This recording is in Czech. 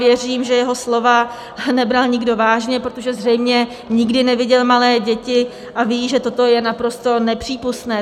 Věřím, že jeho slova nebral nikdo vážně, protože zřejmě nikdy neviděl malé děti, a ví, že toto je naprosto nepřípustné.